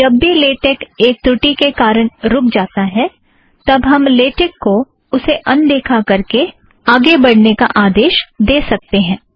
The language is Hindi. जब भी लेटेक एक त्रुटि के कारण रुख जाता है तब हम लेटेक को उसे अनदेखा करके आगे बढ़ने का आदेश दे सकतें हैं